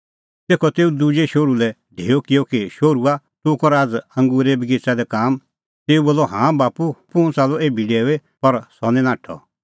तेखअ तेऊ दुजै शोहरू लै ढेअ किअ कि शोहरूआ तूह कर आझ़ अंगूरे बगिच़ै दी काम तेऊ बोलअ हाँ बाप्पू हुंह च़ाल्लअ एभी डेऊई पर सह निं नाठअ